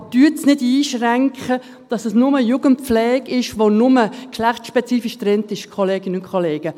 Aber schränken Sie es nicht ein, dass es nur Jugendpflege ist, die geschlechtsspezifisch getrennt ist, Kolleginnen und Kollegen.